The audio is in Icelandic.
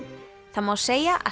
það má segja að